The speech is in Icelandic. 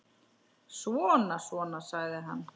Svona, svona, sagði hann.